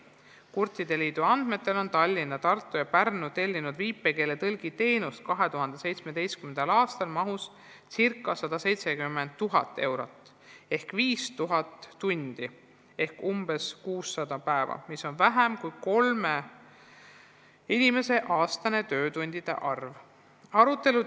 Kurtide liidu andmetel on Tallinn, Tartu ja Pärnu tellinud viipekeeletõlgi teenust 2017. aastal mahus ca 170 000 eurot ehk 5000 tundi ehk umbes 600 päeva, mis on vähem kui kolme inimese aastane töötundide arv.